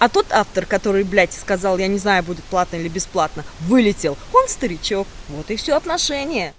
а тут автор который блять сказал я не знаю будет платно или бесплатно вылетел он старичок вот и всё отношения